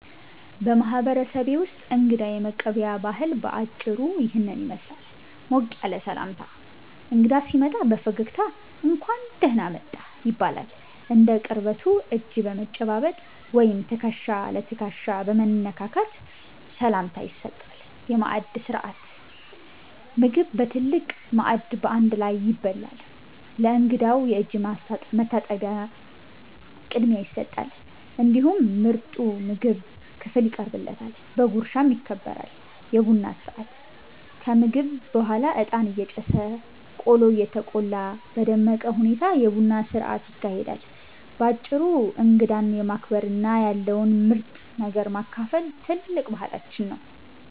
በማህበረሰቤ ውስጥ እንግዳ የመቀበያ ባህል በአጭሩ ይህንን ይመስላል፦ ሞቅ ያለ ሰላምታ፦ እንግዳ ሲመጣ በፈገግታ "እንኳን ደህና መጣህ" ይባላል። እንደ ቅርበቱ እጅ በመጨባበጥ ወይም ትከሻ ለትከሻ በመነካካት ሰላምታ ይሰጣል። የማዕድ ሥርዓት፦ ምግብ በትልቅ ማዕድ በአንድ ላይ ይበላል። ለእንግዳው የእጅ መታጠቢያ ቅድሚያ ይሰጣል፤ እንዲሁም ምርጡ የምግብ ክፍል ይቀርብለታል፣ በጉርሻም ይከበራል። የቡና ሥርዓት፦ ከምግብ በኋላ እጣን እየጨሰ፣ ቆሎ እየተቆላ በደመቀ ሁኔታ የቡና ሥርዓት ይካሄዳል። ባጭሩ እንግዳን ማክበርና ያለውን ምርጥ ነገር ማካፈል ትልቅ ባህላችን ነው።